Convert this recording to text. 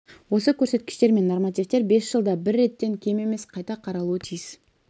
осы көрсеткіштер мен нормативтер бес жылда бір реттен кем емес қайта қаралуы тиіс